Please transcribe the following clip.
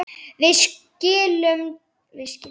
Við skildum hvor annan.